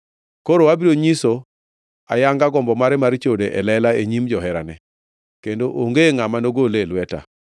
Koro abiro nyiso ayanga gombo mare mar chode e lela e nyim joherane; kendo onge ngʼama nogole e lweta.